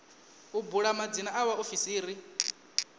u bula madzina a vhaofisiri